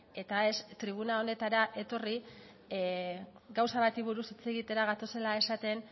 eta ez tribuna honetara etorri gauza bati buruz hitz egitera gatozela esaten